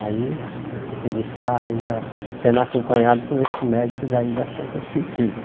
Aí ele está ainda sendo acompanhado com esse médico daí da Santa Cecília.